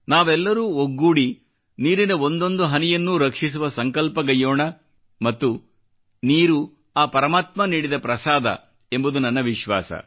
ನಾವೆಲ್ಲರೂ ಒಗ್ಗೂಡಿ ನೀರಿನ ಒಂದೊಂದು ಹನಿಯನ್ನು ರಕ್ಷಿಸುವ ಸಂಕಲ್ಪಗೈಯ್ಯೋಣ ಮತ್ತು ನೀರು ಆ ಪರಮಾತ್ಮ ನೀಡಿದ ಪ್ರಸಾದ ಎಂಬುದು ನನ್ನ ವಿಶ್ವಾಸ